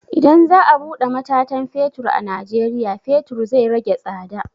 Idan za a buɗe matatan fetur a najeriya, fetur zai rage tsada.